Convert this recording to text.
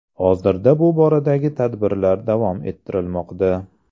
Hozirda bu boradagi tadbirlar davom ettirilmoqda.